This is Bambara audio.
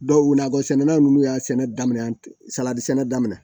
Dɔw wulila bɔ sɛnɛlaw n'u y'a sɛnɛ daminɛ salati sɛnɛ daminɛ